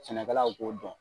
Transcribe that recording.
Sɛnɛkalaw b'o dɔn